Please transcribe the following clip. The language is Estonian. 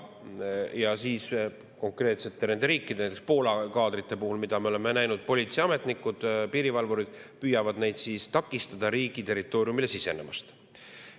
Ja, kuidas nendes riikides, näiteks Poolas politseiametnikud ja piirivalvurid püüavad neid inimesi takistada riigi territooriumile sisenemast.